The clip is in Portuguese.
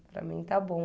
Para mim está bom.